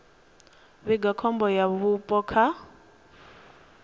vhiga khombo ya vhupo kha